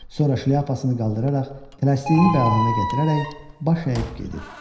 Sonra şlyapasını qaldıraraq tələsdiyini bəhanə gətirərək baş əyib gedir.